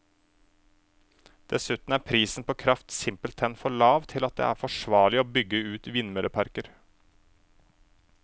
Dessuten er prisen på kraft simpelthen for lav til at det er forsvarlig å bygge ut vindmølleparker.